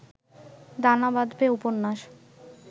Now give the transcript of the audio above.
দানা বাঁধবে উপন্যাস